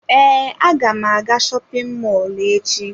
Ee, aga m aga shopin mọlụ echi.